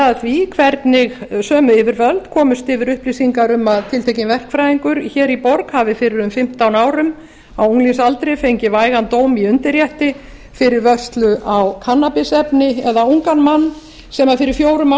að hve hvernigsömu yfirvöld komust yfir upplýsinga m að tiltekinn verkfræðingur hér í borg hafi fyrir um fimmtán árum á unglingsaldri fengið vægan dóm í undirrétti fyrir vörslu á kannabisefni eða ungan mann sem fyrir fjórum